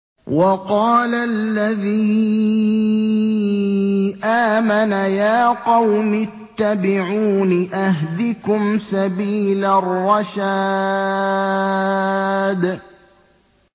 وَقَالَ الَّذِي آمَنَ يَا قَوْمِ اتَّبِعُونِ أَهْدِكُمْ سَبِيلَ الرَّشَادِ